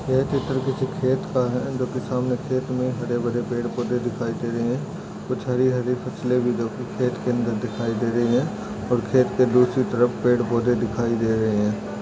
ये चित्र किसी खेत का है जो की सामने खेत मे बड़े हरे भरे पेड़ पौधे दिखाई दे रहे है कुछ हरी हरी फसले जोकि खेत के अंदर दिखाई दे रही है और खेत के दूसरी तरफ पेड़ पौधे दिखाई दे रहे है।